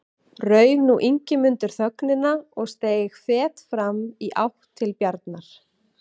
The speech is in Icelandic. Rauf nú Ingimundur þögnina og steig fet fram í átt til Bjarnar.